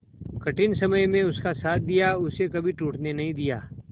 कठिन समय में उसका साथ दिया उसे कभी टूटने नहीं दिया